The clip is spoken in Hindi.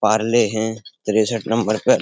पारले हैं | त्रेसठ नंबर पर --